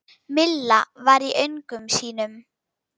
Milla var í öngum sínum.